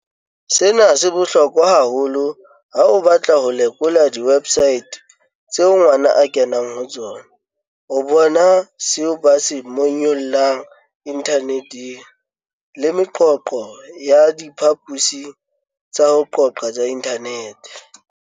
"Sena se bohlokwa haholo ha o batla ho lekola diwebsaete tseo ngwana a kenang ho tsona, ho bona seo ba se monyollang inthaneteng le meqoqo ya diphaposing tsa ho qoqa tsa inthanete."